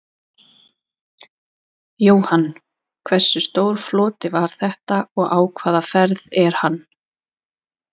Jóhann: Hversu stór floti var þetta og á hvaða ferð er hann?